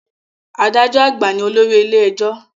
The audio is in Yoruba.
Adájọ́ àgbà ní olórí ilé ẹjọ́